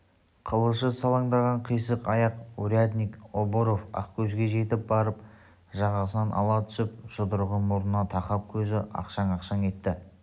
қылышы салаңдаған қисық аяқ урядник обров ақкөзге жетіп барып жағасынан ала түсіп жұдырығын мұрнына тақап көзі ақшаң-ақшаң етті